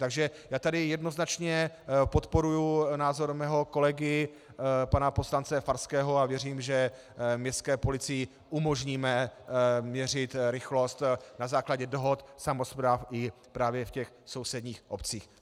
Takže já tady jednoznačně podporuji názor svého kolegy pana poslance Farského a věřím, že městské policii umožníme měřit rychlost na základě dohod samospráv i právě v těch sousedních obcích.